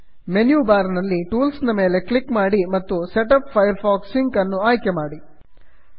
menu bar ನಲ್ಲಿ tools tools ನ ಮೇಲೆ ಕ್ಲಿಕ್ ಮಾಡಿ ಮತ್ತು setup Firefox sync set up Firefox sync ಅನ್ನು ಆಯ್ಕೆ ಮಾಡಿ